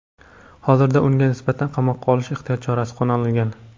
Hozirda unga nisbatan qamoqqa olish ehtiyot chorasi qo‘llanilgan.